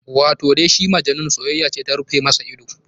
Wato dai shi Majnun soyayya ce ta rufe masa ido.